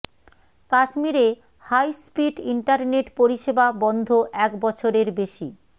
কাশ্মীরে high speed internet পরিষেবা বন্ধ এক বছরের বেশি